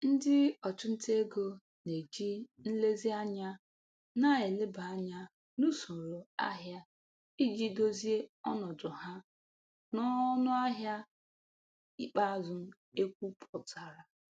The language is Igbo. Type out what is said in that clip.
Ndị ọchụnta ego na-eji nlezianya na-eleba anya n'usoro ahịa iji dozie ọnọdụ ha n'ọnụahịa ikpeazụ ekwpụtara.